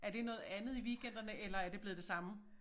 Er det noget andet i weekenderne eller er det blevet det samme